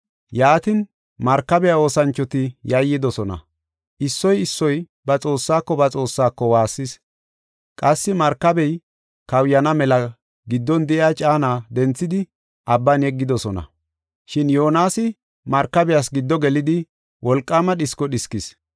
Yaatin markabiya oosanchoti yayyidosona. Issoy issoy ba xoossaako ba xoossaako waassis. Qassi markabey kawuyana mela giddon de7iya caana denthidi abban yeggidosona. Shin Yoonasi markabiyas giddo gelidi wolqaama dhisko dhiskis.